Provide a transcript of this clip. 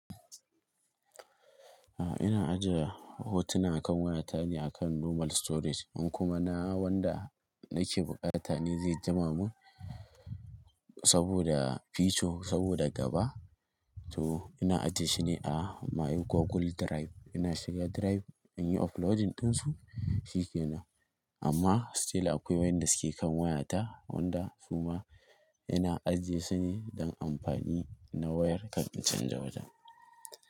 Ina ajiye hotuna kan waya ta ne akan normal storage in kuma na wanda nake buƙatar ta ne zai jima mun saboda feature saboda gaba to ina ajiye shi ne a my Google Drive. Ina shiga drive inyi uploading din su shi kenan amma still akwai wayanda suke kan waya ta wanda su ma ina ajiye su ne don amfani na wayar kar in canza wajen.